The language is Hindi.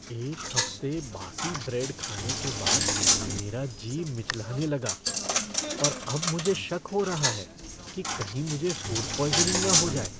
एक हफ्ते बासी ब्रेड खाने के बाद मेरा जी मिचलाने लगा और अब मुझे शक हो रहा है कि कहीं मुझे फ़ूड पॉइज़निंग न हो जाए।